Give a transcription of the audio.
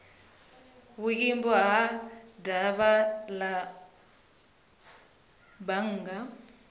vhuimo ha davhi la bannga